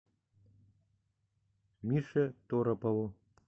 мише торопову